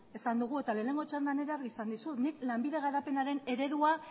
esan dugu eta lehenengo txandan ere argi esan dizut lanbide garapenaren eredua